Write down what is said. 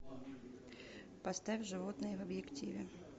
поставь животные в объективе